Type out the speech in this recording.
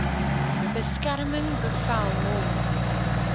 beskerming bevel hom